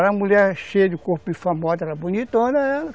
Era uma mulher cheia de corpo e famosa, era bonitona ela